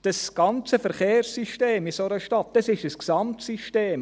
Das ganze Verkehrssystem in einer solchen Stadt ist ein Gesamtsystem.